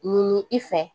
Ɲini i fɛ